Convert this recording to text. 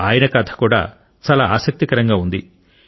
ఆయన కథ కూడా చాలా ఆసక్తికరంగా ఉంది